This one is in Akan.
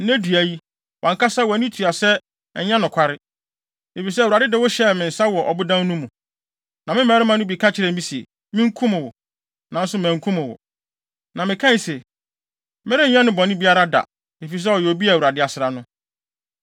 Nnɛ dua yi, wʼankasa wʼani tua sɛ ɛnyɛ nokware. Efisɛ, Awurade de wo hyɛɛ me nsa wɔ ɔbodan no mu, na me mmarima no bi ka kyerɛɛ me se, minkum wo, nanso mankum wo. Na mekae se, ‘Merenyɛ no bɔne biara da, efisɛ ɔyɛ obi a Awurade asra no.’